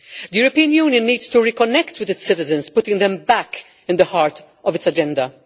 The European Union needs to reconnect with its citizens, putting them back at the heart of its agenda.